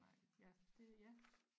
Nej ja det ja